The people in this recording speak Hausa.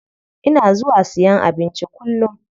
Ina zuwa siyan abinci kullum.